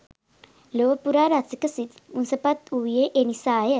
ලොව පුරා රසික සිත් මුසපත් වූයේ එනිසාය